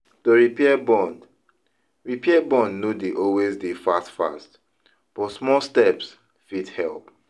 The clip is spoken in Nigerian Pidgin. To repair bond repair bond no de always dey fast fast, but smal steps fit help